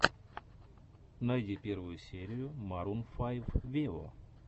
найди первую серию марун файв вево